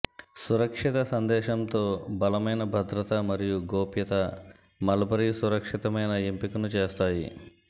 సురక్షిత సందేశంతో బలమైన భద్రత మరియు గోప్యత మల్బరీ సురక్షితమైన ఎంపికను చేస్తాయి